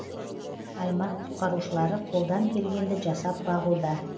аймақ құтқарушылары қолдан келгенді жасап бағуда